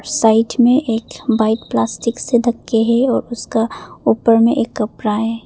Side में एक bike plastic से ढक के है और उसका ऊपर में एक कपड़ा है।